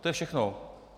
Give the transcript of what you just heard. To je všechno.